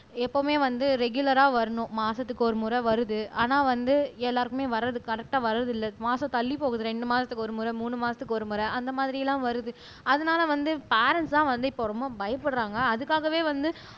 எப்பவுமே வந்து ரெகுலரா வரணும் மாசத்துக்கு ஒருமுறை வருது ஆனா வந்து எல்லாருக்குமே வர்றது கரெக்டா வர்றது இல்லை மாசம் தள்ளி போகுது ரெண்டு மாசத்துக்கு ஒருமுறை மூணு மாசத்துக்கு ஒரு முறை அந்த மாதிரி எல்லாம் வருது அதனால வந்து பேரன்ட்ஸ் தான் வந்து இப்ப ரொம்ப பயப்படுறாங்க அதுக்காகவே வந்து